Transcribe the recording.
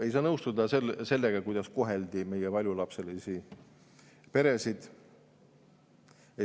Ei saa nõustuda sellega, kuidas koheldi meie paljulapselisi peresid.